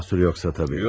Mahsur yoxsa təbii.